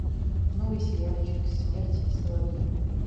новый сериальчик смерть и соловьи